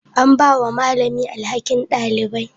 An ba wa malami alhakin ɗabi'a.